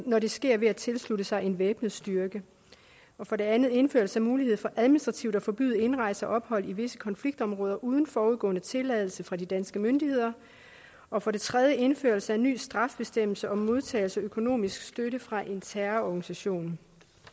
når det sker ved at tilslutte sig en væbnet styrke for det andet indførelse af mulighed for administrativt at forbyde indrejse og ophold i visse konfliktområder uden foregående tilladelse fra de danske myndigheder og for det tredje indførelse af en ny straffebestemmelse om modtagelse af økonomisk støtte fra en terrororganisation